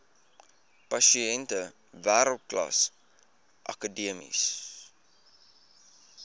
pasiënte wêreldklas akademiese